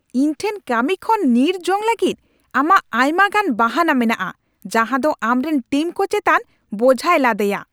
ᱤᱧ ᱴᱷᱮᱱ ᱠᱟᱹᱢᱤ ᱠᱷᱚᱱ ᱧᱤᱨ ᱡᱚᱝ ᱞᱟᱹᱜᱤᱫ ᱟᱢᱟᱜ ᱟᱭᱢᱟ ᱜᱟᱱ ᱵᱟᱦᱟᱱᱟ ᱢᱮᱱᱟᱜᱼᱟ ᱡᱟᱦᱟᱸᱫᱚ ᱟᱢᱨᱮᱱ ᱴᱤᱢᱠᱚ ᱪᱮᱛᱟᱱ ᱵᱳᱡᱷᱟᱭ ᱞᱟᱫᱮᱭᱟ ᱾